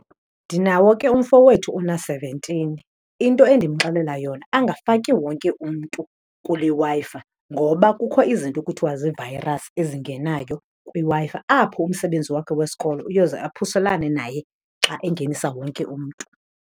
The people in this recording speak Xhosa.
Ndinawo ke umfo wethu ona-seventeen. Into endimxelela yona, angafaki wonke umntu kule Wi-Fi ngoba kukho izinto kuthiwa zii-virus ezingenayo kwiWi-Fi apho umsebenzi wakhe wesikolo uyoze aphuselane naye xa engenisa wonke umntu.